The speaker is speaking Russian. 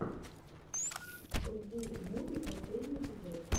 руби муви последний эпизод